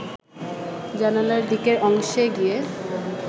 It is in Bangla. জানালার দিকের অংশে গিয়ে